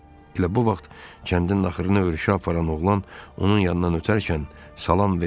Elə bu vaxt kəndin axırına örüşə aparan oğlan onun yanından ötərkən salam versə də Yaqub heç qımıldanmadı da.